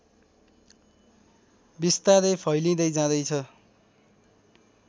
बिस्तारै फैलिँदै जाँदैछ